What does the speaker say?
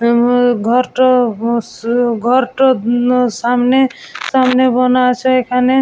উম ঘরটা স ঘরটা উম সামনে সামনে বানা এখানে |